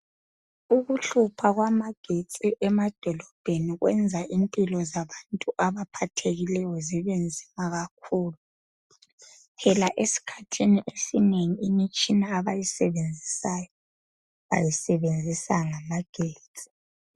Ukuhlupha kwamagetsi emadolobheni kwenza impilo zabantu abaphathekileyo zibenzima kakhulu phela esikhathini esinengi imitshia abayisebenzisayo bayisebenzisa ngamagetsi.